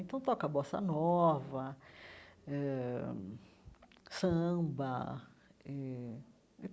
Então, toca bossa nova eh, samba eh.